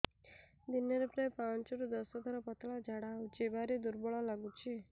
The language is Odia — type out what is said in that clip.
ଦିନରେ ପ୍ରାୟ ପାଞ୍ଚରୁ ଦଶ ଥର ପତଳା ଝାଡା ହଉଚି ଭାରି ଦୁର୍ବଳ ଲାଗୁଚି